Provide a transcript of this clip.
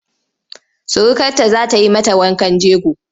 Surukarta za ta yi mata wankan jego.